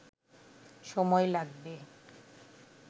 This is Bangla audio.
সময় লাগবে